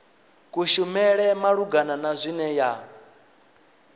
kushumele malugana na zwine ya